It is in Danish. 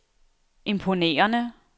imponerende